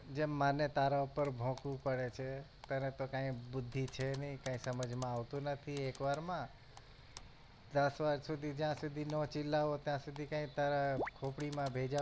જેમ મને તારા પર ભોકવું પડે છે તને તો કાઈ બુદ્ધિ છે નહિ કાઈ સમજ માં આવતું નથી એકવારમાં દસવાર સુધી જ્યાં સુધી નો ચિલાઓ ત્યાં સુધી કઈ તારા ખોપડી માં ભેજા માં